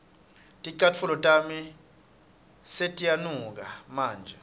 ticatfulo tami setiyanuka manje